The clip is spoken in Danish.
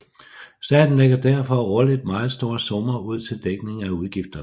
Staten lægger derfor årligt meget store summer ud til dækning af udgifterne